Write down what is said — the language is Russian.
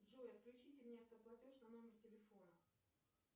джой включите мне автоплатеж на номер телефона